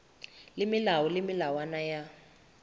le melao le melawana ya